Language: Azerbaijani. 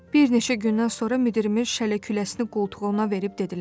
Bir neçə gündən sonra müdirimiz şələ-küləsini qoltuğuna verib dedilər: